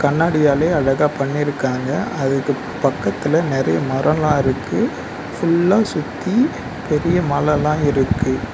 கண்ணாடியாலயே அழகா பண்ணிருக்காங்க அதுக்கு பக்கத்துல நெறைய மரோலா இருக்கு ஃபுல்லா சுத்தி பெரிய மலலா இருக்கு.